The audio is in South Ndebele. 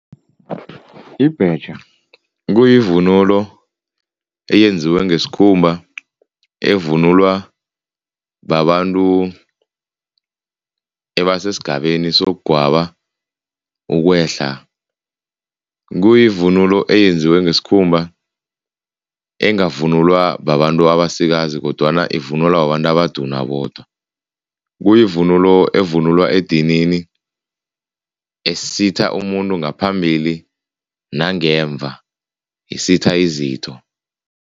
Ibhetjha kuyivunulo eyenziwe ngesikhumba evunulwa babantu abasesigabeni sokugwaba, ukwehla. Kuyivunulo eyenziwe ngesikhumba, engavunulwa babantu abasikazi kodwana ivunulwa babantu abaduna bodwa. Kuyivunulo evunulwa edinini, esitha umuntu ngaphambili nangemva, isitha izitho.